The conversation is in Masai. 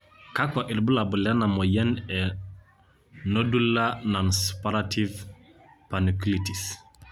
kakua irbulabol lena moyian e nodular nonsuppurative panniculitis